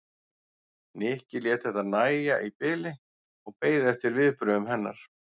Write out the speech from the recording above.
Nikki lét þetta nægja í bili og beið eftir viðbrögðum hennar.